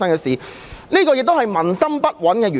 主席，這亦是民心不穩的原因。